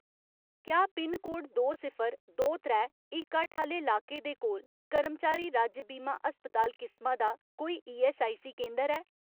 क्या पिनकोड दो सिफर, दो त्रै, इक अट्ठ आह्‌ले लाके दे कोल कर्मचारी राज्य बीमा अस्पताल किसमा दा कोई ईऐस्सआईसी केंदर ऐ ?